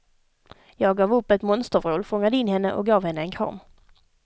Jag gav upp ett monstervrål, fångade in henne och gav henne en kram.